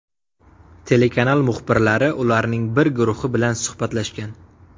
Telekanal muxbirlari ularning bir guruhi bilan suhbatlashgan.